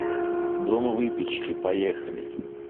дом выпечки поехали